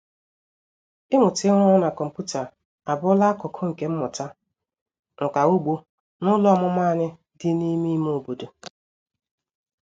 Ịmụta ịrụ ọrụ na kọmputa abụrụla akụkụ nke mmụta nka ugbo n'ụlọ ọmụmụ anyị dị n'ime ime obodo.